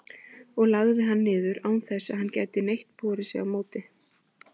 og lagði hann niður, án þess að hann gæti neitt borið sig á móti.